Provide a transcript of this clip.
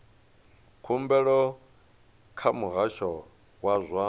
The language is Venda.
khumbelo kha muhasho wa zwa